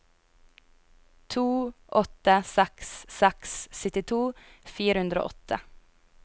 to åtte seks seks syttito fire hundre og åtte